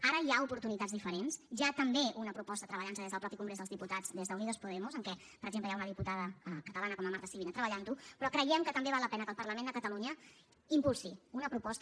ara hi ha oportunitats diferents hi ha també una proposta treballant se des del mateix congrés dels diputats des d’unidos podemos en què per exemple hi ha una diputada catalana com la marta sibina treballant ho però creiem que també val la pena que el parlament de catalunya impulsi una proposta